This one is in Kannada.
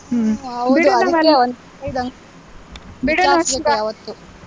ಹ್ಮ್,